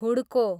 हुड्को